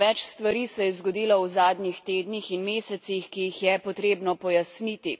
Več stvari se je zgodilo v zadnjih tednih in mesecih, ki jih je potrebno pojasniti.